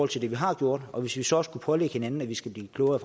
til det vi har gjort hvis vi så også kunne pålægge hinanden at vi skal blive klogere